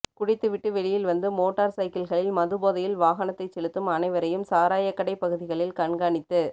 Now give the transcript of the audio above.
குடித்துவிட்டு வெளியில் வந்து மோட்டார் சைக்கிள்களில் மது போதையில் வாகனத்தைச் செலுத்தும் அனைவரையும் சாராயக் கடைப் பகுதிகளில் கண்காணித்து